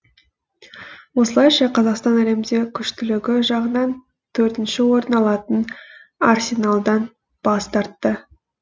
осылайша қазақстан әлемде күштілігі жағынан төртінші орын алатын арсеналдан бас тартты